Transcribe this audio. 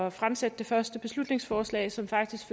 at fremsætte det første beslutningsforslag som faktisk